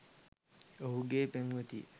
ඔහුගෙ පෙම්වතිය